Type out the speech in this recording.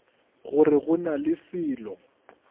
gore go na le selo